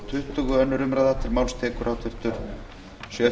hæstvirtur forseti ég mæli hér